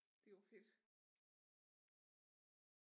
Det var fedt